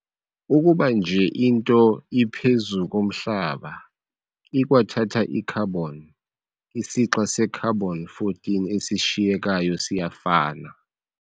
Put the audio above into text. Ukuba nje into iphezu komhlaba ikwathatha i-carbon, isixa se-carbon-14 esishiyekayo siyafana.